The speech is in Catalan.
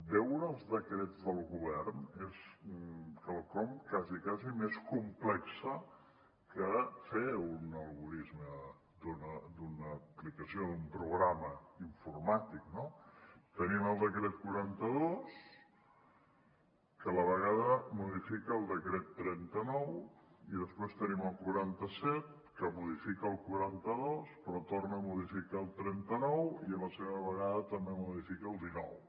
veure els decrets del govern és quelcom quasi quasi més complex que fer un algorisme d’una aplicació d’un programa informàtic no tenim el decret quaranta dos que a la vegada modifica el decret trenta nou i després tenim el quaranta set que modifica el quaranta dos però torna a modificar el trenta nou i a la seva vegada també modifica el dinou